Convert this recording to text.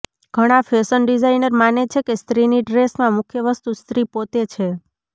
ઘણા fashion designer માને છે કે સ્ત્રીની ડ્રેસમાં મુખ્ય વસ્તુ સ્ત્રી પોતે છે